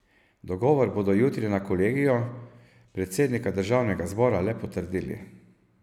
Dogovor bodo jutri na kolegiju predsednika državnega zbora le potrdili.